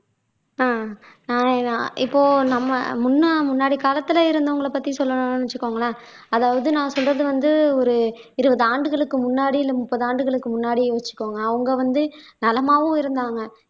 ஆஹ் நான் இப்போ நம்ம முன்ன முன்னாடி காலத்துல இருந்தவங்களை பத்தி சொல்லணும்னு வெச்சுக்கோங்களேன் அதாவது நான் சொல்றது வந்து ஒரு இருபது ஆண்டுகளுக்கு முன்னாடி இல்ல முப்பது ஆண்டுகளுக்கு முன்னாடி வெச்சுக்கோங்க அவங்க வந்து நலமாவும் இருந்தாங்க